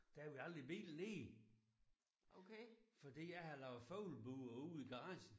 Der havde vi aldrig bilen nede. Fordi jeg havde lavet fuglebure ude i garagen